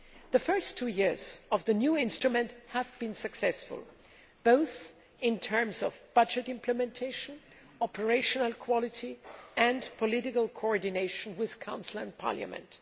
The first two years of the new instrument have been successful, both in terms of budget implementation, operational quality and political coordination with Council and Parliament.